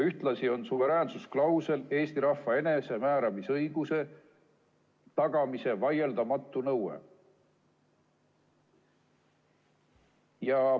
Ühtlasi on suveräänsusklausel Eesti rahva enesemääramisõiguse tagamise vaieldamatu nõue.